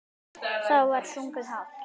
Þá var sungið hátt.